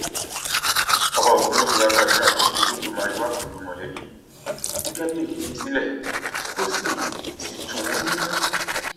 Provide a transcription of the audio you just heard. ọba ogunwusi wàá gbàdúrà pé kí olódùmarè wà pẹlú mọlẹbí tí kábíẹsì fi sílẹ kó sì sì tù wọn nínú